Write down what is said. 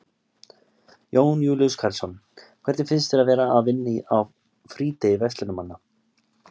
Jón Júlíus Karlsson: Hvernig finnst þér að vera að vinna á frídegi verslunarmanna?